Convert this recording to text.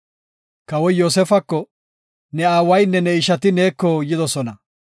Kawoy Yoosefako, “Ne aawaynne ne ishati neeko yidosona.